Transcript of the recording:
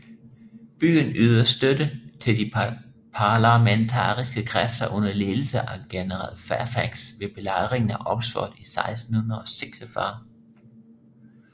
Byen ydede støtte til de parlamentaristiske kræfter under ledelse af general Fairfax ved Belejringen af Oxford i 1646